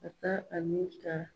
Ka taa ta